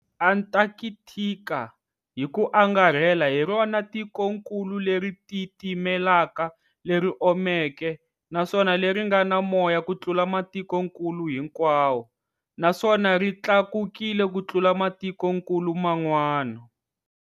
Antakthika, hiku angarhela hirona tikonkulu leri titimelaka, leri omeke, naswona leri ngana moya kutlula matikonkulu hinkwawo, naswona ritlakukile kutlula matikonkulu man'wana.